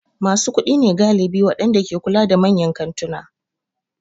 Masu kuɗi ne galibin waɗanda ke kula da manyan kantuna.